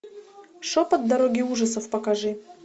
шепот дороги ужасов покажи